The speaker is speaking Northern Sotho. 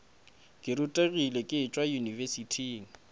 ke rutegile ke tšwa yunibesithing